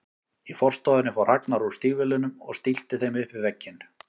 Í forstofunni fór Ragnar úr stígvélunum og stillti þeim upp við vegginn.